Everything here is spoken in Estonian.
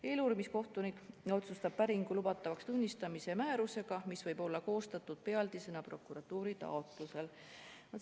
Eeluurimiskohtunik otsustab päringu lubatavaks tunnistamise määrusega, mis võib-olla koostatud pealdisena prokuratuuri taotlusel.